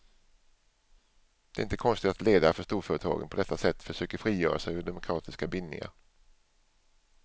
Det är inte konstigt att ledare för storföretagen på detta sätt försöker frigöra sig ur demokratiska bindningar.